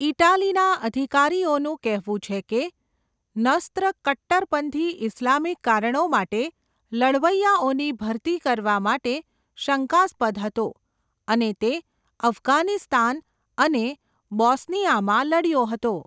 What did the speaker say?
ઇટાલીના અધિકારીઓનું કહેવું છે કે નસ્ર કટ્ટરપંથી ઇસ્લામિક કારણો માટે લડવૈયાઓની ભરતી કરવા માટે શંકાસ્પદ હતો અને તે અફઘાનિસ્તાન અને બોસ્નિયામાં લડ્યો હતો.